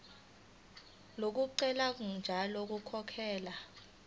lokugcina ngalo ukukhokhela